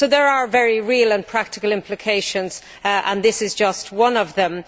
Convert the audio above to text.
So there are very real and practical implications and this is just one of them.